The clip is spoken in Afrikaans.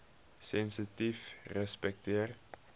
sensitiefrespekteer